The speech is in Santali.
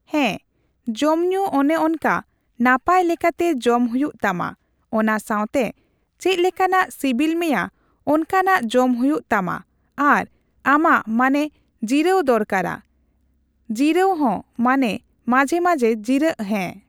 ᱦᱮᱸ ᱡᱚᱢ ᱧᱩ ᱚᱱᱮ ᱚᱱᱠᱟ ᱱᱟᱯᱟᱭ ᱞᱮᱠᱟᱛᱮ ᱡᱚᱢ ᱦᱩᱭᱩᱜ ᱛᱟᱢᱟ ᱚᱱᱟᱥᱟᱣᱛᱮ ᱪᱮᱫᱞᱮᱠᱟᱱᱟᱜ ᱥᱤᱵᱤᱞ ᱢᱮᱭᱟ ᱚᱱᱠᱟᱱᱟᱜ ᱡᱚᱢ ᱦᱩᱭᱩᱜ ᱛᱟᱢᱟ ᱟᱨ ᱟᱢᱟᱜ ᱢᱟᱱᱮ ᱡᱤᱨᱟᱹᱣ ᱫᱚᱨᱠᱟᱨᱟ ᱡᱤᱨᱟᱹᱣ ᱦᱚᱸ ᱢᱟᱱᱮ ᱢᱟᱡᱷᱮ ᱢᱟᱡᱷᱮ ᱡᱤᱨᱟᱹᱜ ᱦᱮᱸ